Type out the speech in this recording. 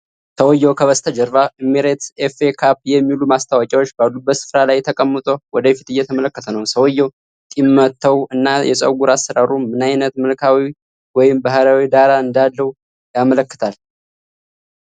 ሰውዬው ከበስተጀርባው Emirates FA CUP የሚሉ ማስታወቂያዎች ባሉበት ስፍራ ላይ ተቀምጦ ወደ ፊት እየተመለከተ ነው። ሰውዬው ጢም መተው እና የፀጉር አሠራሩ ምን ዓይነት መልክዓዊ ወይም ባህላዊ ዳራ እንዳለው ያመላክታል?